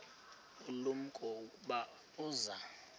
ulumko ukuba uza